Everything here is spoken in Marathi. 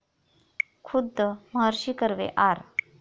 खुद्द महर्षी कर्वे, आर.